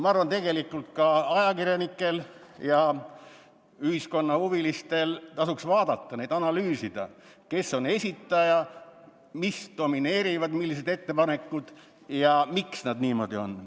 Ma arvan, et tegelikult ka ajakirjanikel ja ühiskonnaelu huvilistel tasuks neid vaadata ja analüüsida, kes on esitaja, millised ettepanekud domineerivad ja miks need niisugused on.